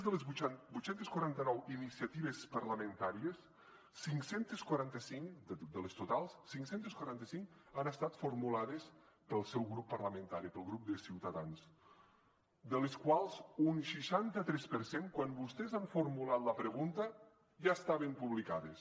de les vuit cents i quaranta nou iniciatives parlamentàries cinc cents i quaranta cinc de les totals cinc cents i quaranta cinc han estat formulades pel seu grup parlamentari pel grup de ciutadans de les quals un seixanta tres per cent quan vostès han formulat la pregunta ja estaven publicades